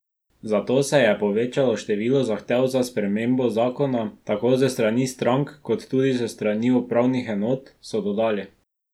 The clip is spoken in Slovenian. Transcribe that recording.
Zato se je povečalo število zahtev za spremembo zakona, tako s strani strank kot tudi s strani upravnih enot, so dodali.